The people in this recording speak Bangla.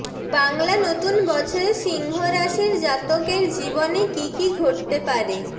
বাংলা নতুন বছরে সিংহ রাশির জাতকের জীবনে কী কী ঘটতে পারে